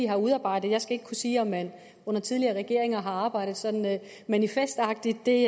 har udarbejdet jeg skal ikke kunne sige om man under tidligere regeringer har arbejdet sådan manifestagtigt det